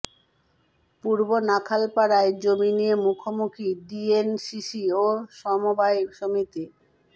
পূর্ব নাখালপাড়ায় জমি নিয়ে মুখোমুখি ডিএনসিসি ও সমবায় সমিতি